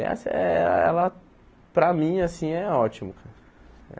E essa, eh ela, para mim, assim, é ótimo.